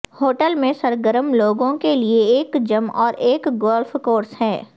hotel میں سرگرم لوگوں کے لئے ایک جم اور ایک گولف کورس ہے